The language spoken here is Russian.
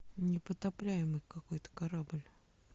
непотопляемый какой то корабль